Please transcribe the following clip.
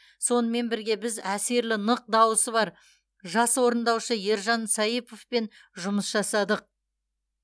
сонымен бірге біз әсерлі нық дауысы бар жас орындаушы ержан саиповпен жұмыс жасадық